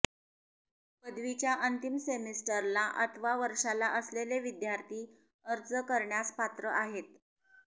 पदवीच्या अंतिम सेमिस्टरला अथवा वर्षाला असलेले विद्यार्थी अर्ज करण्यास पात्र आहेत